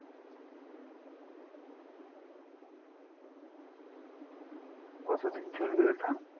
কতদিন চলবে ওটা?